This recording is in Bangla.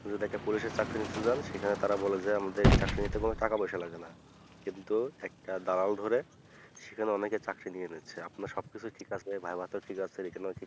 আপনি একটা police এর চাকরি নিতে চান সেখানে তারা বলে যে আমাদের চাকরি নিতে গেলে টাকা পয়সা লাগে না কিন্তু একটা দালাল ধরে সেখানে অনেক এ চাকরি নিয়ে নিচ্ছে আপনি সব কিছু ঠিক আছে viva তেও ঠিক আছে রীতি মতো